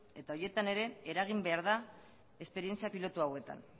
eta horietan ere eragin behar da esperientzia pilotu hauetan